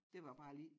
Det var bare lige